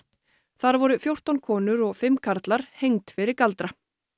þar voru fjórtán konur og fimm karlar hengd fyrir galdra